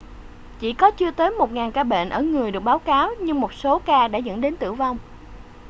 chỉ có chưa tới một ngàn ca bệnh ở người được báo cáo nhưng một số ca đã dẫn đến tử vong